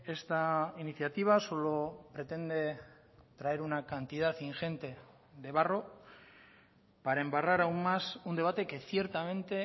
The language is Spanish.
esta iniciativa solo pretende traer una cantidad ingente de barro para embarrar aún más un debate que ciertamente